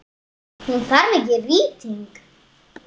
Hún þarf ekki rýting.